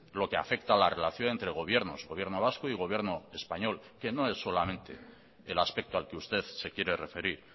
lo que afecta a la relación entre gobiernos gobierno vasco y gobierno español que no es solamente el aspecto al que usted se quiere referir